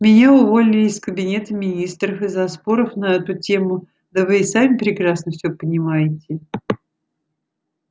меня уволили из кабинета министров из-за споров на эту тему да вы и сами прекрасно все понимаете